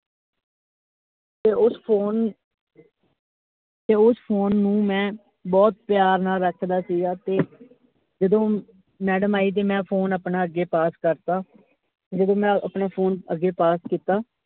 ਤੇ ਉਸ phone ਤੇ ਉਸ phone ਨੂੰ ਮੈਂ ਬਹੁਤ ਪਿਆਰ ਨਾਲ ਰੱਖਦਾ ਸੀਗਾ ਤੇ ਜਦੋਂ madam ਆਈ ਤੇ ਮੈਂ phone ਆਪਣਾ ਅੱਗੇ pase ਕਰਤਾ ਜਦੋਂ ਮੈਂ ਆਪਣਾ phone ਅਗੇ pase ਕੀਤਾ।